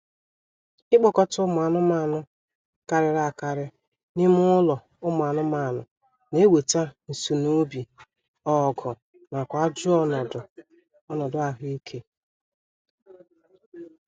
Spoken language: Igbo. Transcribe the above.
Ikpokọta ụmụ anụmaanụ karịrị akarị n'ime ụlọ ụmụ anụmanụ na-eweta nsunoobi, ọgụ, nakwa ajọ ọnọdụ ahụ ike